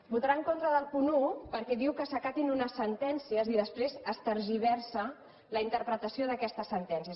votarà en contra del punt un perquè diu que s’acatin unes sentències i després es tergiversa la interpretació d’aquestes sentències